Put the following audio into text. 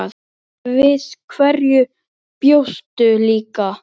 Við hverju bjóstu líka?